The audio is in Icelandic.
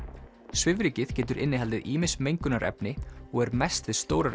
svifrykið getur innihaldið ýmis mengunarefni og er mest við stórar